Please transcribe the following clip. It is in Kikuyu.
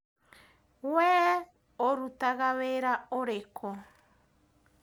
Wee ũrutaga wĩra ũrĩkũ?